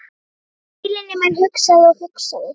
Heilinn í mér hugsaði og hugsaði.